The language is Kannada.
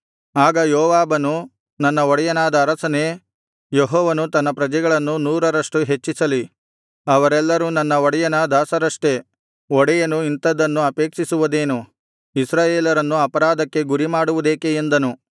ಆಗ ಯೋವಾಬನು ನನ್ನ ಒಡೆಯನಾದ ಅರಸನೇ ಯೆಹೋವನು ತನ್ನ ಪ್ರಜೆಗಳನ್ನು ನೂರರಷ್ಟು ಹೆಚ್ಚಿಸಲಿ ಅವರೆಲ್ಲರೂ ನನ್ನ ಒಡೆಯನ ದಾಸರಷ್ಟೆ ಒಡೆಯನು ಇಂಥದ್ದನ್ನು ಅಪೇಕ್ಷಿಸುವುದೇನು ಇಸ್ರಾಯೇಲರನ್ನು ಅಪರಾಧಕ್ಕೆ ಗುರಿಮಾಡುವುದೇಕೆ ಎಂದನು